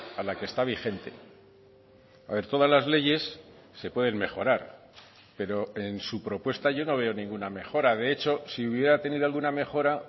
a la que está vigente a ver todas las leyes se pueden mejorar pero en su propuesta yo no veo ninguna mejora de hecho si hubiera tenido alguna mejora